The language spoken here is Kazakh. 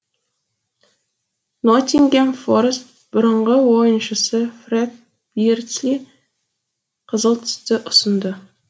ноттингем форрест бұрынғы ойыншысы фрэд бирдсли қызыл түсті ұсынды